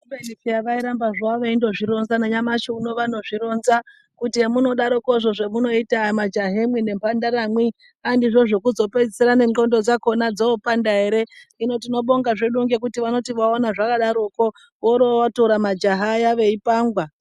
Kubeni hai vairamba veindozvironza nanyamashi unowu vanotozvironza kuti hemunodarokozvo zvemunoita majahemwi nemhandaramwi andizvo zvekuzopedzisira nendxondo dzoopanda ere, hino tinobonga ngekuti vanoti vaona zvakadaroko vorootora majaha aya veipangwa.